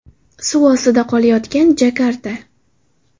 Suv ostida qolayotgan Jakarta.